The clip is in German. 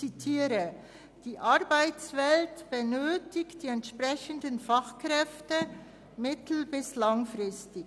«Die Arbeitswelt benötigt die entsprechenden Fachkräfte mittel- bis langfristig.